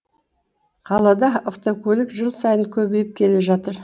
қалада автокөлік жыл сайын көбейіп келе жатыр